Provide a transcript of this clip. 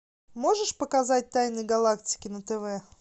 можешь показать тайны галактики на тв